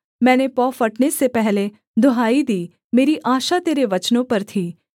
मैंने पौ फटने से पहले दुहाई दी मेरी आशा तेरे वचनों पर थी